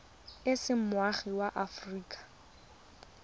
o se moagi wa aforika